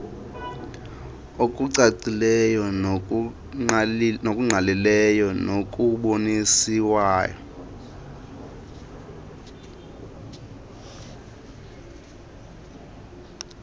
okucacileyo nokungqalileyo nokuboniswa